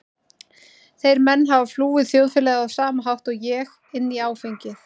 Þeir menn hafa flúið þjóðfélagið á sama hátt og ég- inn í áfengið.